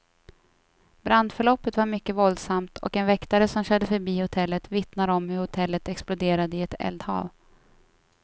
Brandförloppet var mycket våldsamt, och en väktare som körde förbi hotellet vittnar om hur hotellet exploderade i ett eldhav.